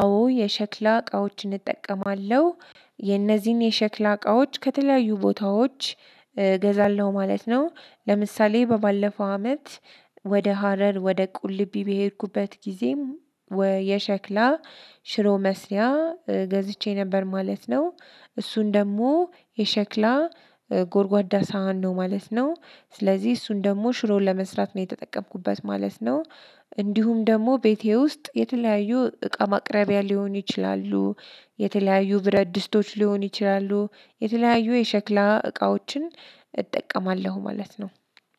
አዎ የሸክላ እቃዎችን እጠቀማለሁ። የነዚህን የሸክላ እቃዎች ከተለያዩ ቦታዎች እገዛለሁ ማለት ነው። ለምሳሌ በባለፈው አመት ወደ ሀረር ወደ ቁልቢ በሄድኩበት ጊዜም። የሸክላ ሽሮ መስሪያ ገዝቼ ነበር ማለት ነው። እሱን ደግሞ የሸክላ ጎርጓዳ ሳህን ነው ማለት ነው። ስለዚህ እሱን ደግሞ ሽሮውን ለመስራት ነው የተጠቀምኩበት ማለት ነው። እንዲሁም ደግሞ ቤቴ ውስጥ የተለያዩ እቃ ማቅረቢያ ሊሆኑ ይችላሉ። የተለያዩ ብረት ድስቶች ሊሆን ይችላሉ የተለያዩ የሸክላ እቃዎችን እጠቀማለሁ ማለት ነው።